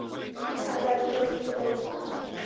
Ætlaðist þó ekki til að ég svaraði.